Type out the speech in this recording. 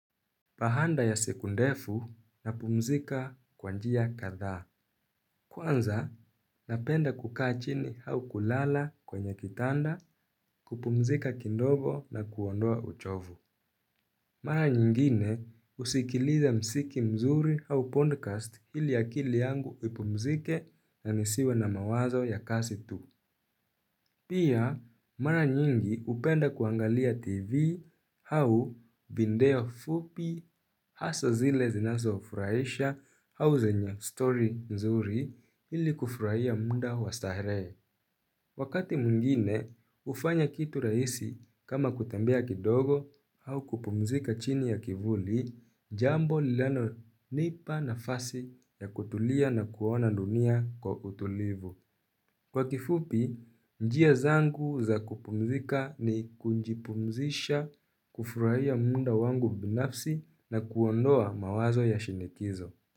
Baada ya siku ndefu napumzika kwa njia kadha. Kwanza, napenda kuka achini au kulala kwenye kitanda kupumzika kidogo na kuondoa uchovu. Mara nyingine husikiliza usiki mzuri au podcast ili ya akili yangu ipumzike na nisiwe na mawazo ya kasi tu. Pia, mara nyingi hupenda kuangalia tv au video fupi hasa zile zinazo furaisha au zenya story nzuri ili kufuraia muda wa starehe. Wakati mwingine, hufanya kitu rahisi kama kutembea kidogo au kupumzika chini ya kivuli jambo linalo nipa nafasi ya kutulia na kuona dunia kiutulivu. Kwa kifupi, njia zangu za kupumzika ni kujipumzisha, kufurahia muda wangu binafsi na kuondoa mawazo ya shinikizo.